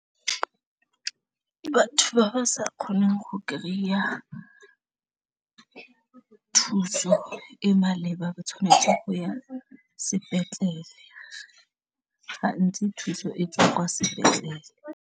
Batho ba ba sa kgoneng go kry-a thuso e maleba ba tshwanetse go ya sepetlele gantsi thuso e tswa kwa sepetlele.